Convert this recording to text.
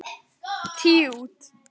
Tíu út.